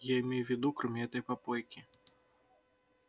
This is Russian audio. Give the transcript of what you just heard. я имею в виду кроме этой попойки